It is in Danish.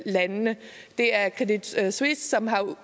landene det er credit suisse som er